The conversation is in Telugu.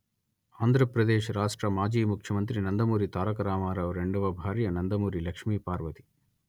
ఆంధ్రప్రదేశ్ రాష్ట్ర మాజీ ముఖ్యమంత్రి నందమూరి తారక రామారావు రెండవ భార్య నందమూరి లక్ష్మీపార్వతి